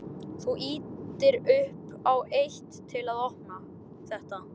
Þú ýtir upp á eitt. til að opna þetta.